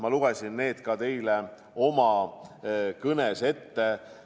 Ma lugesin need ka teile oma kõnes ette.